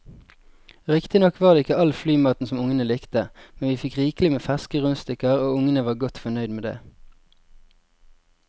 Riktignok var det ikke all flymaten som ungene likte, men vi fikk rikelig med ferske rundstykker og ungene var godt fornøyd med det.